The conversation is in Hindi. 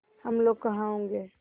हम लोग कहाँ होंगे